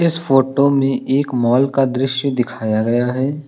इस फोटो में एक माल का दृश्य दिखाया गया है।